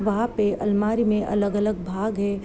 वहाँ पे अलमारी में अगल - अलग भाग है|